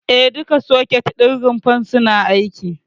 E, duka soket ɗin rumfar suna aiki.